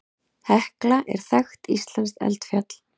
Hekla er þekkt íslenskt eldfjall.